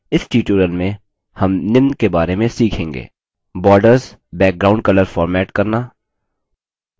इस tutorial में हम निम्न के बारे में सीखेंगे